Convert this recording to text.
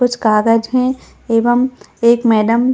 कुछ कागज है एवं एक मैडम --